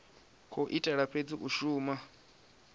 khou itela fhedzi u shuma